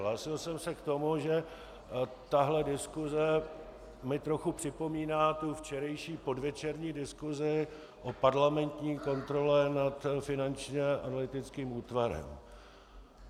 Hlásil jsem se k tomu, že tahle diskuse mi trochu připomíná tu včerejší podvečerní diskusi o parlamentní kontrole nad Finančním analytickým útvarem.